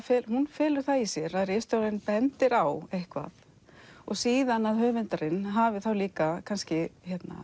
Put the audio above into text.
felur það í sér að ritstjórinn bendir á eitthvað og síðan að höfundurinn hafi þá líka kannski